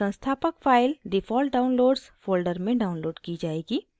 संस्थापक file default downloads folder में downloaded की जाएगी